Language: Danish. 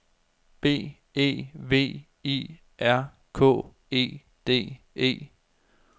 B E V I R K E D E